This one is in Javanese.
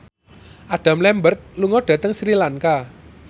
Adam Lambert lunga dhateng Sri Lanka